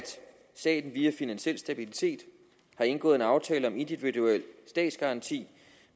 staten via finansiel stabilitet har indgået aftaler om individuel statsgaranti